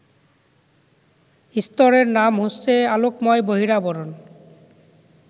স্তরের নাম হচ্ছে আলোকময় বহিরাবরণ